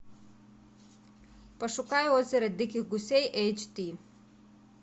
пошукай озеро диких гусей эйч ди